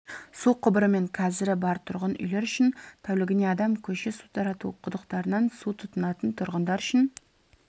су құбыры мен кәрізі бар тұрғын үйлер үшін тәулігіне адам көше су тарату құдықтарынан су тұтынатын тұрғындар үшін